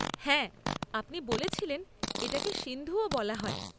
হ্যাঁ, আপনি বলেছিলেন এটাকে সিন্ধুও বলা হয়।